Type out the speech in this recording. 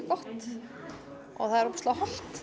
gott það er ofboðslega hollt